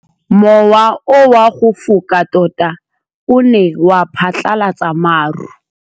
Mowa o wa go foka tota o ne wa phatlalatsa maru.